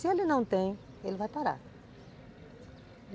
Se ele não tem, ele vai parar.